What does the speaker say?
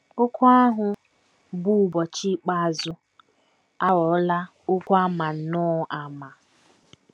Okwu ahụ bụ́ ‘ ụbọchị ikpeazụ ’ aghọọla okwu a ma nnọọ ama.